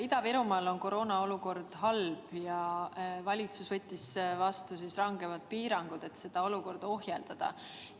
Ida-Virumaal on koroonaolukord halb ja valitsus võttis vastu rangemad piirangud, et seda ohjeldada.